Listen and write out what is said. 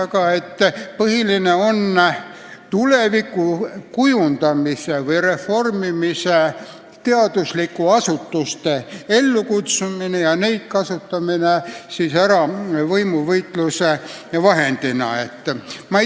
Kutsuti ellu tuleviku kujundamise või reformimise, plaanide koostamise teaduslikke asutusi ja neid kasutati võimuvõitluse vahendina.